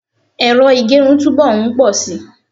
ero igerun tu bo nposi